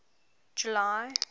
july